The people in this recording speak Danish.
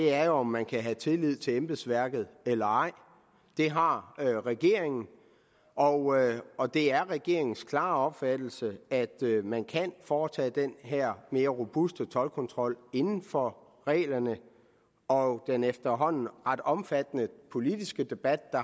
er jo om man kan have tillid til embedsværket eller ej det har regeringen og og det er regeringens klare opfattelse at man kan foretage den her mere robuste toldkontrol inden for reglerne og den efterhånden ret omfattende politiske debat og